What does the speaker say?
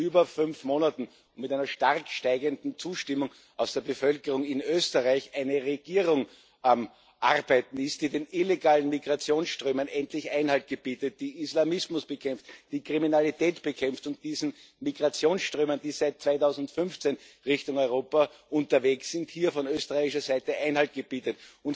über fünf Monaten mit einer stark steigenden Zustimmung aus der Bevölkerung in Österreich eine Regierung am Arbeiten ist, die den illegalen Migrationsströmen endlich Einhalt gebietet, die Islamismus bekämpft, die Kriminalität bekämpft und diesen Migrationsströmen, die seit 2015 Richtung Europa unterwegs sind, von österreichischer Seite Einhalt gebietet.